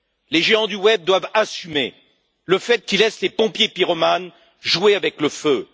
Les géants du web doivent assumer le fait qu'ils laissent les pompiers pyromanes jouer avec le feu.